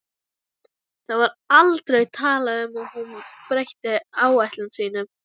Það var aldrei talað um að hún breytti áætlunum sínum.